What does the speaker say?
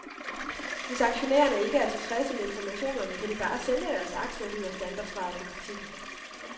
Hvis aktionærerne ikke er tilfredse med informationerne, kan de bare sælge deres aktier, lyder standardsvaret på kritikken.